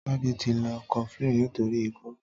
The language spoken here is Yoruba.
Tade ti ló kọflin nitóri ikọ